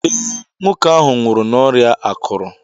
Ee, nwoke ahụ nwụrụ n'ọrịa akụrụ